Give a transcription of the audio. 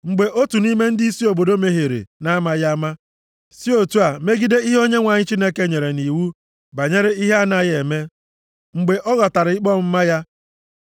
“ ‘Mgbe otu nʼime ndịisi obodo mehiere na-amaghị ama, si otu a megide ihe Onyenwe anyị Chineke nyere nʼiwu banyere ihe a na-agaghị eme, mgbe ọ ghọtara ikpe ọmụma ya.